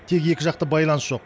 тек екіжақты байланыс жоқ